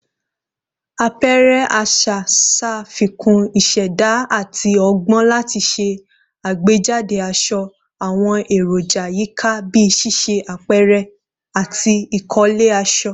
Apẹrẹ aṣa ṣafikun iṣẹda ati ọgbọn lati ṣe agbejade aṣọ, awọn eroja yika bii ṣiṣe apẹrẹ ati ikole aṣọ